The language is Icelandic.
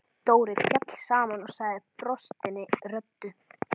Dóri féll saman og sagði brostinni röddu: